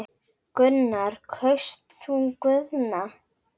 Gunnar: Kaust þú Guðna?